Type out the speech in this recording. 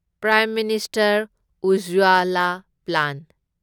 prime minister Ujjwala plan